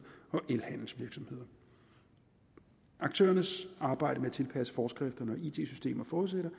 og elhandelsvirksomheder aktørernes arbejde med at tilpasse foreskrifterne og it systemer forudsætter